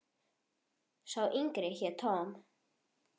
Sá yngri hét Tom.